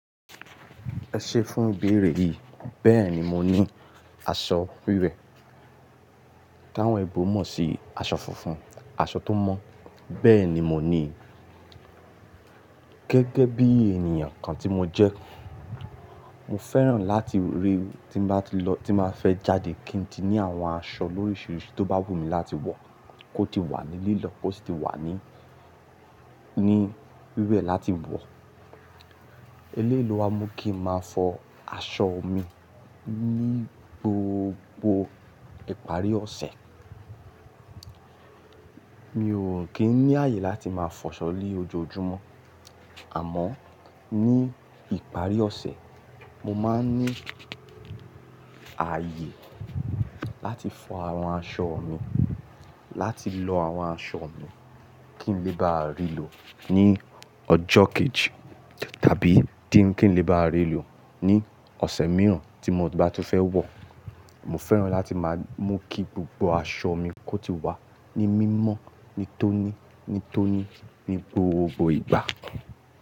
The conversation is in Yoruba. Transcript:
Ẹ ṣe fún ìbéèrè yìí, bẹ́ẹ̀ ni mo ní aṣọ wíwẹ̀. Táwọn oyinbo mọ̀ sí aṣọ funfun, aṣọ tó mọ́, bẹ́ẹ̀ ni mo ní, gẹ́gẹ́ bí ènìyàn kan tí mo jẹ́. Mo fẹ́ràn láti rí tí mo bá ti lọ, tí màá fẹ́ jáde kí n di ní àwọn aṣọ lóríṣiríṣi tó bá wù mí láti wọ̀ kó ti wà nílílọ̀ kó sì ti wà ní, ní wíwẹ̀ láti wọ̀. Eléyi lo wa mú kí n máa fọ aṣọ mi ní gbogbo ìparí ọ̀sẹ̀. Mi ò kín ní ààyè láti máa fọ aṣọ ní ojoojúmọ́. Àmọ́ ní ìparí ọ̀sẹ̀, mo máa ń ní ààyè láti fọ àwọn aṣọ mi, láti lọ àwọn aṣọ mi kí n lè bá rí lọ ní ọjọ́ kejì tàbí díń kí n lè bá rí lọ ní ọ̀sẹ̀ mìíràn tí mo bá tún fẹ́ wọ̀. Mo fẹ́ràn láti máa mú kí gbogbo aṣọ mi kó ti wà ní mímọ́, ní tóní, ní tóní ní gbogbo ìgbà.